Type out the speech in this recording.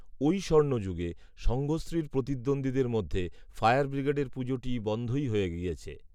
ওই স্বর্ণযুগে সঙ্ঘশ্রীর প্রতিদ্বন্দ্বীদের মধ্যে ফায়ার ব্রিগেডের পুজোটি বন্ধই হয়ে গিয়েছে